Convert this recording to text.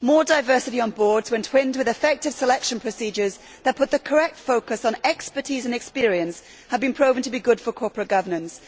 More diversity on boards, when twinned with effective selection procedures that put the correct focus on expertise and experience, has been proven to be good for corporate governance.